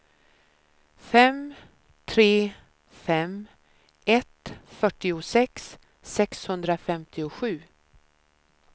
fem tre fem ett fyrtiosex sexhundrafemtiosju